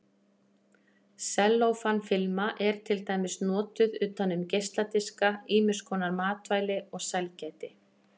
Sellófan-filma er til dæmis notuð utan um geisladiska, ýmiskonar matvæli og sælgæti.